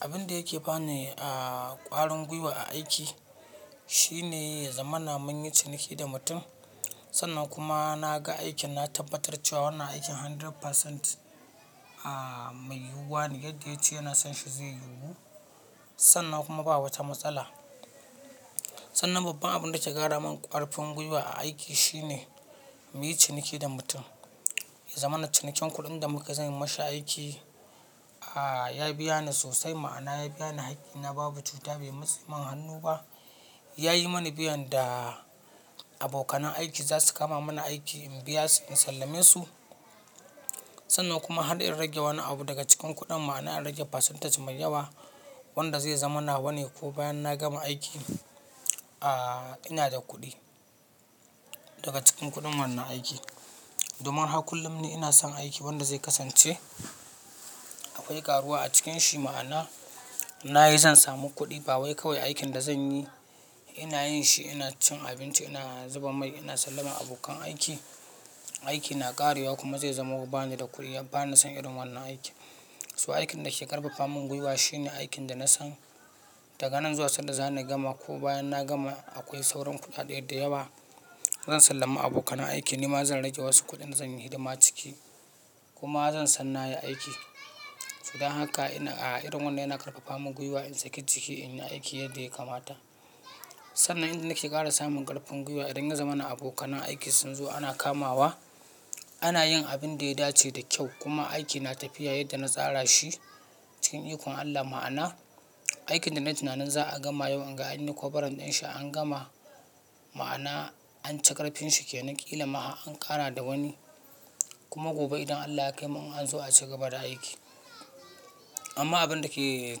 Abin da yake bani a ƙwarin gwiwa a aiki shine ya zamana mun yi ciniki da mutum. Sannan kuma na ga aikin na tabbatar cewa wannan aikin 100% a me yiwuwa ne yadda ya ce yana son shi zai yiwu sannan kuma ba wata matsala. Sannan babban abin da ke ƙara min ƙarfin gwiwa a aiki shine mu yi ciniki da mutum. Zamana cinikin kuɗin da muka yii za yi mashi aiki a ya biya ni sosai ma'ana ya biya ni haƙƙina babu cuta bai matseman hannu ba. Ya yi mani biyan da abokanan aiki za su kama mana aiki in biya su in sallame su. Sannan kuma har in rage wani abu daga cikin kuɗin ma'ana in rage percentage mai yawa wanda zai zama nawa ne ko bayan na gama aiki a ina da kuɗi daga cikin kuɗin wannan aiki. Domin har kullum ni ina son aiki wanda zai kasance akwai karuwa a cikin shi ma'ana na yi zan samu kuɗi. Bawai kawai aikin da zan yi ina yin shi ina cin abinci ina zuba mai ina sallaman abokan aiki. Aikin na ƙarewa kuma zai zamo bani da kuɗi ba ni son irin wannan aiki. To aikin da ke ƙarfafa min gwiwa shine aikin da na san daga nan zuwa sanda zani gama ko bayan na gama akwai sauran kuɗaɗe da yawa. Zan sallama abokanan aiki ni ma zan rage wasu kuɗin zan yi hidima ciki kuma zan san na yi aiki. To dan haka ina a irin wannan yana ƙarfafa min gwiwa in saki jiki in yi aiki yadda ya kamata. Sannan inda nake ƙara samun ƙarfin gwiwa idan ya zamana abokanan aiki sun zo ana kamawa ana yin abin da ya dace da kyau kuma aiki na tafiya yadda na tsara shi cikin ikon Allah ma'ana aikin da na yi tunanin za a gama yau inga an yi covering ɗin shi an gama ma'ana an ci ƙarfin shi ke nan ƙila ma har an ƙara da wani kuma gobe idan Allah ya kaimu in an zo a cigaba da aiki. Amma abin da ke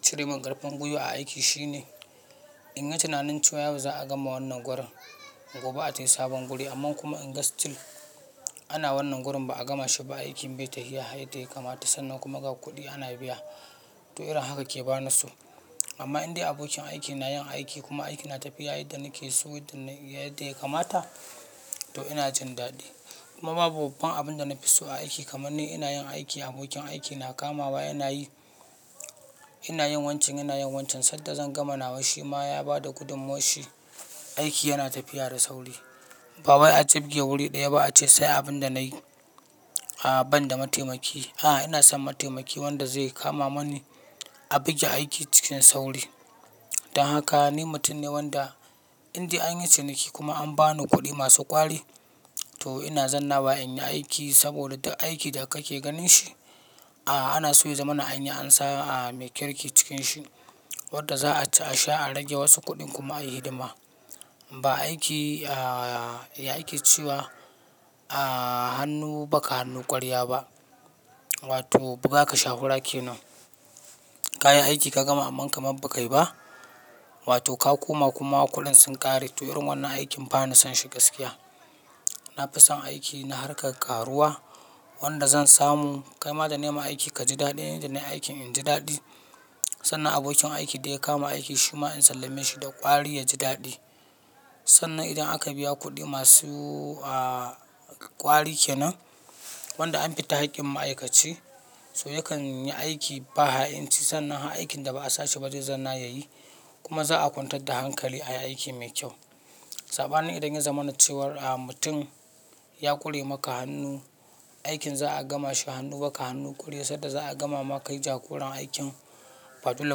cire min ƙarfin gwiwa a aiki shine in yi tunanin cewa yau za a gama wannan gurin gobe a tafi sabon guri amma kuma in ga still ana wannan gurin ba a gama shi ba aikin bai tafiya yadda ya kamata sannan kuma ga kuɗi ana biya to irin haka ke bani so. Amma indai abokin aikin na yin aiki kuma aiki na tafiya yadda nake so yadda ya kamata to ina jin daɗi. Kuma babu babban abin da na fi so a aiki kamarn ni ina yin aiki abokin aiki na kamawa yana yi ina yin wancan yana yin wancan sanda zan gama nawa shi ma ya bada gudunmawar shi aiki yana tafiya da sauri. Bawai a jibge wuri ɗaya ba a ce sai abin da nayi a banda mataimaki. A ina son mataimaki wanda zai kama mani a buge aiki cikin sauri. Dan haka ni mutum ne wanda indai an yi ciniki kuma an bani kuɗi masu ƙwari to ina zanna wa in yi aiki saboda duk aiki da ka ke ganin shi a ana so ya zamana anyi ansa a mai kirki cikin shi wanda za a sha a rage wasu kuɗin kuma a yi hidima. Ba aiki a ya ake cewa a hannu ba ka hannu ƙwarya ba wato buga ka sha hura kenan kayi aiki ka gama amma kamar ba ka yi ba wato ka koma kuma kudin sun ƙare to irin wannan aikin ba ni son shi gaskiya. Na fi son aiki na harkar karuwa wanda zan samu kai ma da nai ma aiki ka ji daɗi ni da nai aiki in ji daɗi sannan abokin aiki da ya kama aiki shi ma in sallame shi da ƙwari ya ji daɗi. Sannan idan aka biya kuɗi masu a ƙwari kenan wanda an fita haƙƙin ma'aikaci so yakan yi aiki ba ha'inci sannan har aikin da ba a sashi ba zai zanna ya yi kuma za'a kwantar da hankali ayi aiki mai kyau. Sabanin idan ya zamana cewa a mutum ya kure maka hannu aikin za'a gama shi hannu ba ka hannu kure sadda za'a gama ma kai jagoran aikin ba dole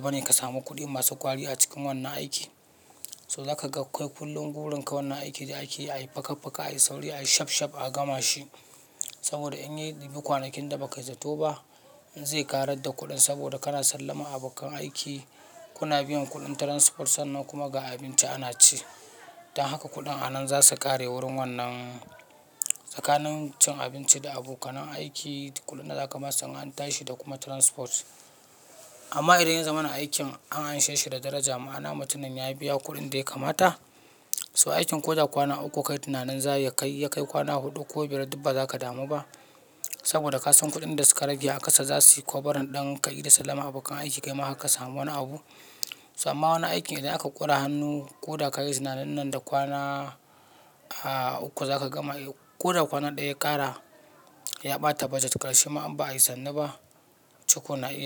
ba ne ka samu kuɗi masu ƙwari a cikin wannan aiki. So za ka ga kai kullum gurin ka wannan aiki da ake yi ayi faka faka ayi sauri ayi shaf shaf a gama shi saboda in yayi dibi kwanakin da ba kai zato ba in zai ƙarar da kuɗin saboda kana sallaman abokan aiki kuna biyan kuɗin transport sannan kuma ga abinci ana ci. Dan haka kuɗin a nan za su ƙare wurin wannan tsakanin cin abinci da abokanan aiki kuɗin da zaka basu in an tashi da kuma transport. Amma idan ya zamana aikin an anshe shi da daraja ma'ana mutumin ya biya kuɗin dai kamata so aikin ko da kwana uku ku kayi tunanin za ya kai ya kai kwana huɗu ko biyar duk ba za ka damu ba saboda ka san kuɗin da suka rage a ƙasa za su yi kovarin ɗin ka ida sallaman abokan aiki kai ma harka samu wani abu. Amma wani aikin idan aka ƙura hannu ko da ka yi tunanin nan da kwana a uku za ka gama ko da kwana ɗaya ya ƙara ya ɓata budget ƙarshe ma in ba ayi sannu ba ci ko na iya.